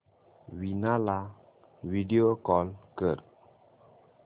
वीणा ला video call कर